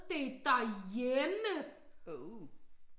Det derhjemme